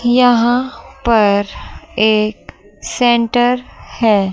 यहां पर एक सेंटर है।